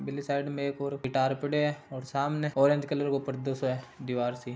इली साइड में एक और गिटार पड़ियो हैं और सामने ऑरेंज कलर को पर्दो सो हे दीवार सी--